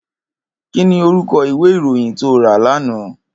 Kini órúkò iwé iróyìn tó rá làná